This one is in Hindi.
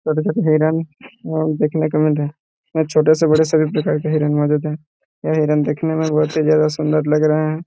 हिरण देखने को मिल रहा है छोटे से बड़े से बड़े सभी प्रकार के हिरण मौजूद है यह हिरन देखनेमें बहुत ही ज्यादा सुंदर लग रहे है।